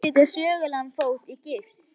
Er hægt að setja sögulegan fót í gifs?